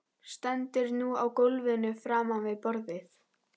Stendur nú á gólfinu framan við borðið.